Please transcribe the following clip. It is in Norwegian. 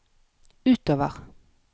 utover